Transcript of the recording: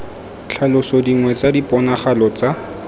tlhalosa dingwe tsa diponagalo tsa